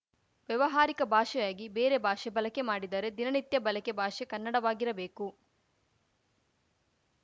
ವ್ಯವಹಾರಿಕ ಭಾಷೆಯಾಗಿ ಬೇರೆ ಭಾಷೆ ಬಲಕೆ ಮಾಡಿದರೂ ದಿನನಿತ್ಯ ಬಲಕೆ ಭಾಷೆ ಕನ್ನಡವಾಗಿರಬೇಕು